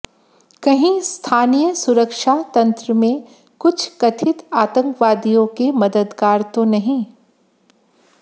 कहीं स्थानीय सुरक्षा तंत्र में कुछ कथित आतंकवादियों के मददगार तो नहीं